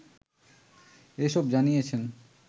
এসব জানিয়েছেন